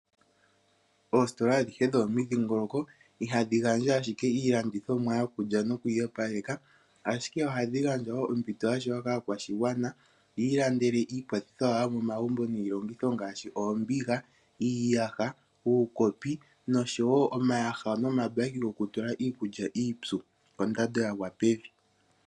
Oositola adhihe dhomomidhingoloko ihadhi gandja ashike iilandithomwa yokulya noku iyopaleka, ashike ohadhi gandja wo ompito ya shewa kaakwashigwana yi ilandele iikwathitho yawo yomomagumbo niilongitho ngaashi oombiga, iiyaha, uukopi noshowo omayaha nomabaki gokutula iikulya iipyu kondando ya gwa pevi.